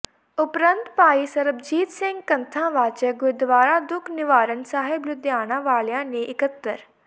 ਉਪਰੰਤ ਭਾਈ ਸਰਬਜੀਤ ਸਿੰਘ ਕਥਾਂ ਵਾਚਕ ਗੁਰਦੁਆਰਾਂ ਦੁੱਖ ਨਿਵਾਰਣ ਸਾਹਿਬ ਲੁੱਧਿਆਣਾ ਵਾਲਿਆ ਨੇ ਇੱਕਤਰ